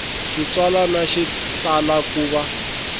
xitsalwana xi tala ku va